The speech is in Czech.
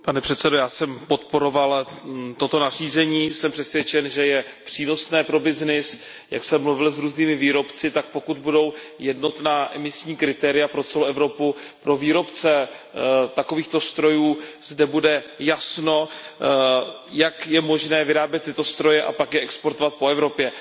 Pane předsedající, já jsem podporoval toto nařízení, jsem přesvědčen, že je přínosné pro byznys. Jak jsem mluvil s různými výrobci, tak pokud budou jednotná emisní kritéria pro celou Evropu, pro výrobce takovýchto strojů zde bude jasno, jak je možné vyrábět tyto stroje a pak je exportovat po Evropě.